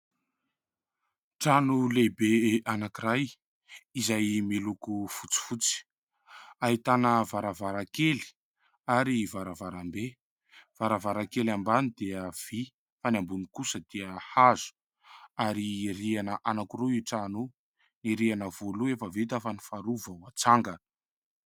Trano lehibe anankiray izay miloko fotsifotsy, ahitana varavarankely ary varavarambe. Varavarankely ambany dia vy fa ny ambony kosa dia hazo ary rihana anankiroa io trano io. Ny rihana voalohany efa vita fa ny faharoa vao hatsangana.